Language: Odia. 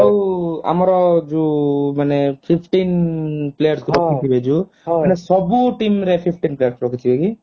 ଆଉ ଆମର ଯୋଉ ମାନେ fifteen players କୁ ରଖି ଥିବେ ଯୋଉ ମାନେ ସବୁ team ରେ fifteen players ରଖିଥିବେ କି?